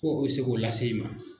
Ko o se k'o lase i ma.